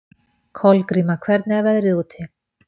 Kolgríma, hvernig er veðrið úti?